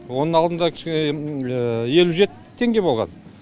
оның алдында кішкене елу жеті теңге болған